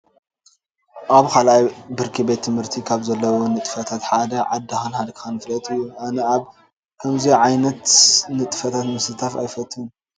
ኣብ ካልኣይ ብርኪ ቤት ትምህርቲ ካብ ዘለው ንጥፈታት እቲ ሓደ ዓድካ ፍለጥ እዩ። ኣነ ኣብ ከምዚ ዓይነት ንጥፈታት ምስታፍ ኣይፈትውን።